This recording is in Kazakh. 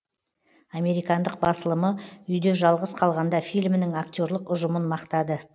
американдық басылымы үйде жалғыз қалғанда фильмінің актерлік ұжымын мақтады